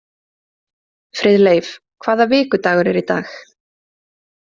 Friðleif, hvaða vikudagur er í dag?